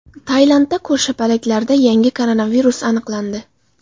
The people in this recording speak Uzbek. Tailandda ko‘rshapalaklarda yangi koronavirus aniqlandi.